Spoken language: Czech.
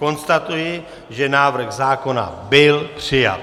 Konstatuji, že návrh zákona byl přijat.